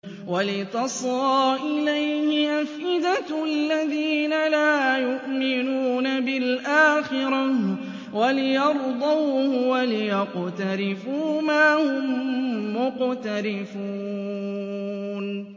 وَلِتَصْغَىٰ إِلَيْهِ أَفْئِدَةُ الَّذِينَ لَا يُؤْمِنُونَ بِالْآخِرَةِ وَلِيَرْضَوْهُ وَلِيَقْتَرِفُوا مَا هُم مُّقْتَرِفُونَ